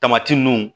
Tamati nunnu